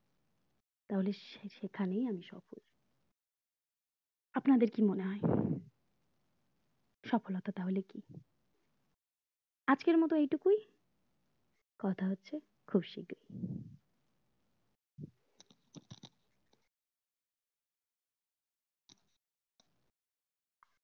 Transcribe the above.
তাহলে সে সেখানেই আমি সফল আপনাদের কি মনে হয় সফলতা তাহলে কি আজকের মতো এটুকুই কথা হচ্ছে খুব শিগ্রী